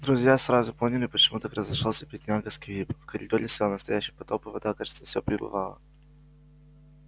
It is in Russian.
друзья сразу поняли почему так разошёлся бедняга сквиб в коридоре стоял настоящий потоп и вода кажется все прибывала